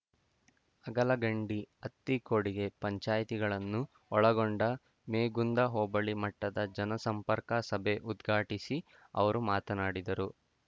ಅಗಳಗಂಡಿ ಅತ್ತಿಕೊಡಿಗೆ ಪಂಚಾಯಿತಿಗಳನ್ನು ಒಳಗೊಂಡ ಮೇಗುಂದ ಹೋಬಳಿ ಮಟ್ಟದ ಜನಸಂಪರ್ಕ ಸಭೆ ಉದ್ಘಾಟಿಸಿ ಅವರು ಮಾತನಾಡಿದರು